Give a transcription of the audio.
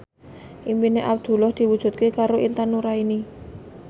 impine Abdullah diwujudke karo Intan Nuraini